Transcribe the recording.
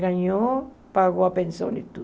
Ganhou, pagou a pensão e tudo.